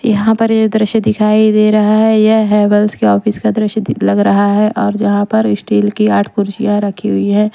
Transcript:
यहां पर ये दृश्य दिखाई दे रहा है यह हर्बलस के ऑफिस का दृश्य दि लग रहा है और जहां पर स्टील की आठ कुर्सियां रखी हुई हैं।